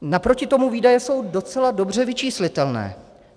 Naproti tomu výdaje jsou docela dobře vyčíslitelné.